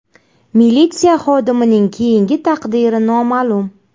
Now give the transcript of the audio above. Militsiya xodimining keyingi taqdiri noma’lum.